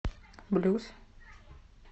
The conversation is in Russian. блюз